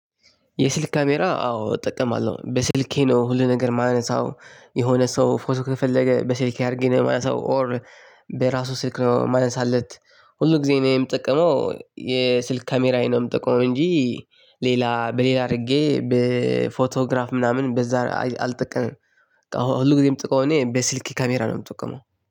የስልክ ካሜራ አዎ እጠቀማለሁ በስልኬ ነው ሁሉ ነገር የማነሳው የሆነ ሰው ፎቶ ከፈለገ በስልኬ አድርጌ ነው የማነሳው ኦር በራሱ ስልክ ነው የማነሳለት። ሁሉ ጊዜ እኔ የምጠቀመው የስልክ ካሜራዬ ነው ምጠቀመው እንጂ ሌላ በሌላ አድርጌ በፎቶግራፍ ምናምን በዛ አልጠቀምም። ሁሉ ጊዜ ምጠቀመው እኔ በስልክ ካሜራ ነው የምጠቀመው